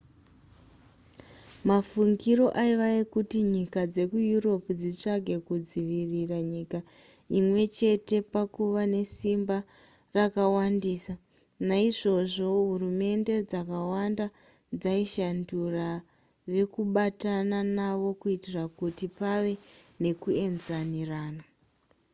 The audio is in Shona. mafungiro aiva ekuti nyika dzekueurope dzitsvage kudzivirira nyika imwechete pakuva nesimba rakawandisa naizvozvo hurumende dzakawanda dzaishandura vekubatana navo kuitira kuti pave nekuaenzanirana